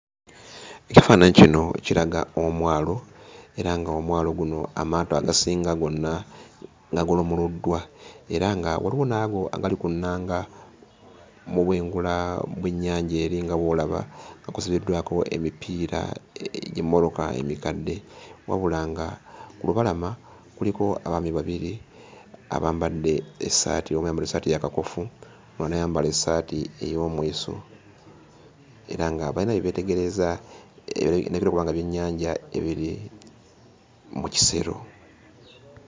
Ekifaananyi kino kiraga omwalo era ng'omwalo guno amaato agasinga gonna gagolomoloddwa era nga waliwo n'ago agali ku nnanga mu bwengula bw'ennyanja eri nga bw'olaba, nga kusibiddwako emipiira egy'emmotoka emikadde, wabula nga ku lubalama kuliko abaami babiri abambadde essaati, omu ayambadde essaati eya kakofu, omulala n'ayambala essaati ey'omweso era nga bayina bye beetegereza ebirabika okuba nga byennyanja ebiri mu kisero.